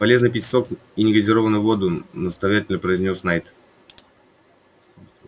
полезно пить сок и негазированную воду наставительно произнёс найд